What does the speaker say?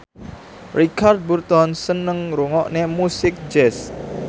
Richard Burton seneng ngrungokne musik jazz